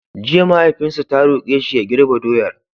Jiya mahaifinsa ta roƙe shi ya girbe doyar!